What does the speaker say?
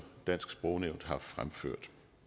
dansk sprognævn har fremført